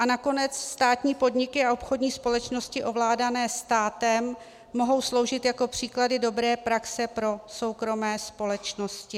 A nakonec státní podniky a obchodní společnosti ovládané státem mohou sloužit jako příklady dobré praxe pro soukromé společnosti.